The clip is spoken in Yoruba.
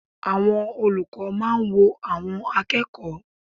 Àwọn olùkọ́ máa ń wo àwọn akẹ́kọ̀ọ́.